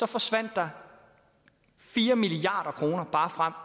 forsvandt der fire milliard kroner bare frem